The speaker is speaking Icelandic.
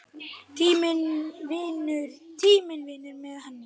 Tíminn vinnur með henni.